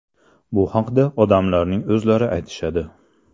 Bu haqda odamlarning o‘zlari aytishadi.